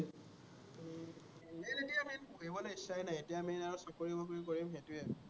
এনেই এতিয়া মানে পঢ়িবলে ইচ্ছাই নাই, এতিয়া আমি আৰু চাকৰি বাকৰি কৰিম সেইটোৱেই আৰু